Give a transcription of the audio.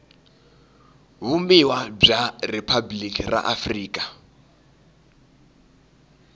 vumbiwa bya riphabuliki ra afrika